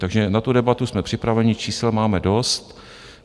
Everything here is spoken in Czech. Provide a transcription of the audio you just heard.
Takže na tu debatu jsme připraveni, čísel máme dost.